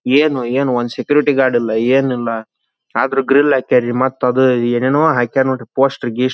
ಏನು ಏನು ಒಂದು ಸೆಕ್ಯೂರಿಟಿ ಗಾರ್ಡ್ ಏನಿಲ್ಲ. ಆದ್ರೂ ಗ್ರಿಲ್ ಹಾಕ್ಯರಿ ಮತ್ತ್ ಅದು ಏನ್ ಏನ್ಏನೋ ಹಾಕ್ಯರಿ ನೋಡ್ರಿ ಪೋಸ್ಟರ್ ಗಿಸ್ಟರ್--